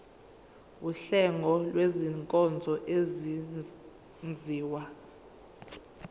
wuhlengo lwezinkonzo ezenziwa